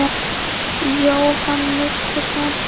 Jóhann missti son sinn.